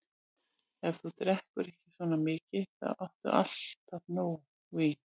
Ef þú drekkur ekki svona mikið, þá áttu alltaf nóg vín.